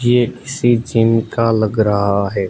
ये किसी जिम का लग रहा है।